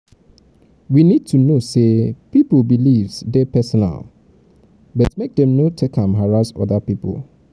we need to know need to know sey pipo beliefs dey personal but make dem no take am harass oda pipo